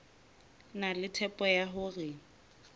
na le tshepo ya hore